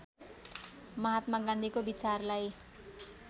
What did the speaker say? महात्मा गान्धीको विचारलाई